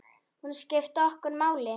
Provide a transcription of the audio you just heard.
Hún skipti okkur máli.